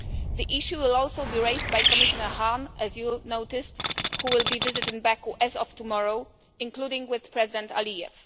The issue will also be raised by Commissioner Hahn, as you noticed, who will be visiting Baku as of tomorrow, including with President Aliyev.